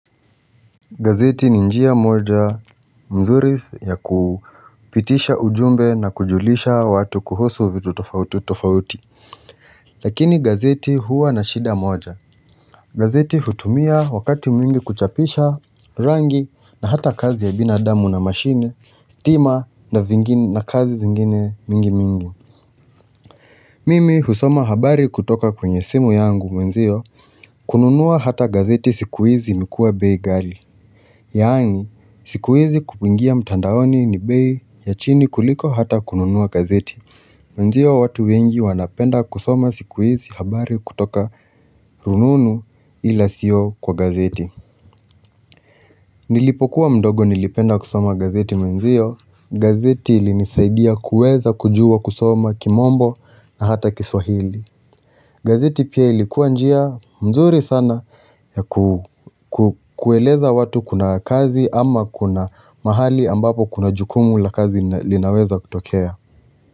Gazeti ni njia moja mzuri ya ku pitisha ujumbe na kujulisha watu kuhusu vitu tofauti tofauti. Lakini gazeti huwa na shida moja. Gazeti hutumia wakati mwingi kuchapisha rangi, na hata kazi ya binadamu na mashine, stima, na vingin na kazi zingine mingi mingi. Mimi husoma habari kutoka kwenye simu yangu mwenzio. Kununua hata gazeti siku hizi imekua bei ghali. Yaani, siku hizi kup ingia mtandaoni ni bei ya chini kuliko hata kununua gazeti. Wenzio watu wengi wanapenda kusoma siku hizi habari kutoka rununu, ila sio kwa gazeti. Nilipokuwa mdogo nilipenda kusoma gazeti mwenziyo. Gazeti ilinisaidia kuweza kujua kusoma kimombo, na hata kiswahili. Gazeti pia ilikuwa njia mzuri sana yaku ku kueleza watu kuna kazi ama kuna mahali ambapo kuna jukumu la kazi nna linaweza kutokea.